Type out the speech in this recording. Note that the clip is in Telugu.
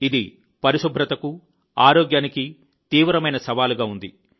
ఇది పరిశుభ్రతకు ఆరోగ్యానికి తీవ్రమైన సవాలుగా ఉంది